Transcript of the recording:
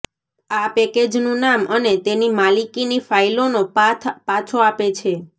આ પેકેજનું નામ અને તેની માલિકીની ફાઇલોનો પાથ પાછો આપે છે